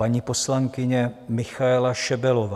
Paní poslankyně Michaela Šebelová.